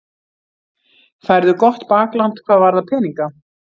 Færðu gott bakland hvað varðar peninga?